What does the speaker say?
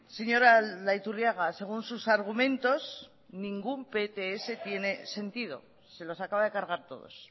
señor aldaiturriaga según sus argumentos ningún pts tiene sentido se los acaba de cargar todos